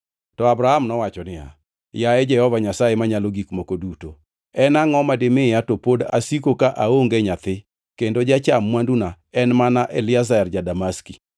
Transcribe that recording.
To Abram nowacho niya, “Yaye Jehova Nyasaye Manyalo Gik Moko Duto, en angʼo ma dimiya to pod asiko ka aonge nyathi kendo jacham mwanduna en mana Eliezer ja-Damaski?”